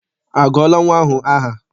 A gụọla nnwa ahụ aha?